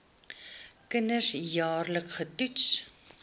kinders jaarliks getoets